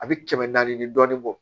A bɛ kɛmɛ naani ni dɔɔnin bɔ